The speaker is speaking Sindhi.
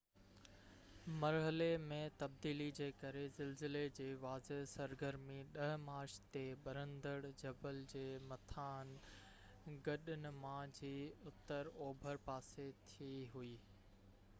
مرحلي ۾ تبديلي جي ڪري زلزلي جي واضع سرگرمي 10 مارچ تي ٻرندڙ جبل جي مٿانهن کڏ نما جي اتر اوڀر پاسي ٿي هوئي